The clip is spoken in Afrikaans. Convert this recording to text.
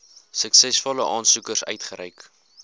suksesvolle aansoekers uitgereik